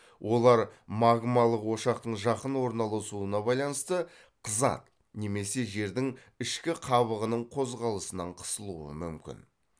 олар магмалық ошақтың жақын орналасуына байланысты қызады немесе жердің ішкі қабығының қозғалысынан қысылуы мүмкін